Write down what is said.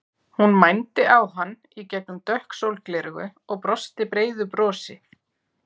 Hún mændi á hann í gegnum dökk sólgleraugu og brosti breiðu brosi.